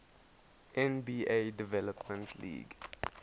nba development league